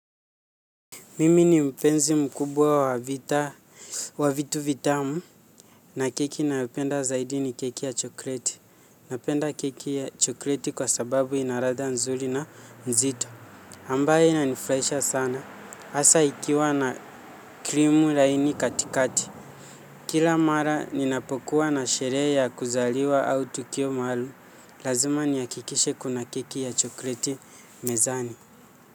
Mimi ni mpenzi mkubwa wa vitu vitamu. Na keki nayopenda zaidi ni keki ya chokoleti. Napenda keki ya chokoleti kwa sababu ina ladha nzuri na mzito. Ambayo inanifurahisha sana hasa ikiwa na krimu laini katikati. Kila mara ninapokuwa na sherehe ya kuzaliwa au tukio maalum. Lazima nihakikishe kuna keki ya chokoleti mezani.